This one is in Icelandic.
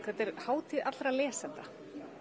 þetta er hátíð allra lesenda